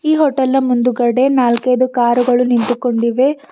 ಈ ಹೋಟೆಲ್ನ ಮುಂದುಗಡೆ ನಾಲ್ಕೈದು ಕಾರುಗಳು ನಿಂತುಕೊಂಡಿವೆ.